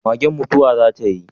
Magen mutuwa za tai?